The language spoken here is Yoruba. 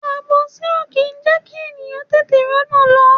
Àbòsí o kì í jẹkí ènìyàn tètè r'ona lọ.